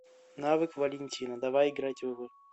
навык валентина давай играть в